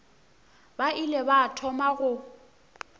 ba ile ba thoma go